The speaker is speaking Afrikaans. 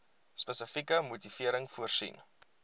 spesifieke motivering voorsien